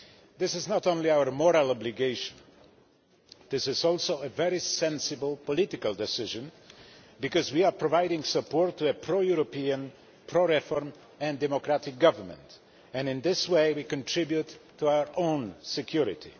This is not only our moral obligation, it is also a very sensible political decision because we are providing support to a pro European, pro reform and democratic government and, in this way, we contribute to our own security.